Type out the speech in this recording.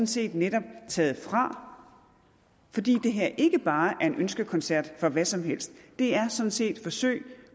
set netop taget fra fordi det her ikke bare er en ønskekoncert for hvad som helst det er sådan set forsøg